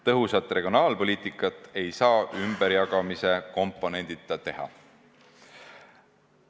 Tõhusat regionaalpoliitikat ei saa ümberjagamise komponendita teha.